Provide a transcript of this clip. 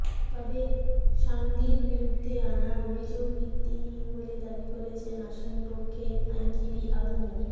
তবে সাঈদীর বিরুদ্ধে আনা অভিযোগ ভিত্তিহীন বলে দাবি করেছেন আসামিপক্ষের আইনজীবী আবু মো